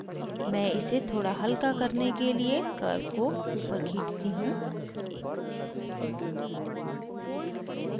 मैं इसे थोड़ा हल्का करने के लिए curve को ऊपर खींचती हूँ